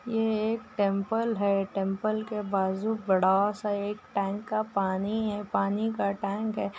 ये एक टेम्पल है। टेम्पल के बाजू बड़ा सा एक टैंक का पानी है। पानी का टैंक है।